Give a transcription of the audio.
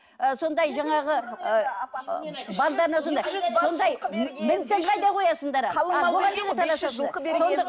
ы сондай жаңағы ы мінісін қайда қоясыңдар ал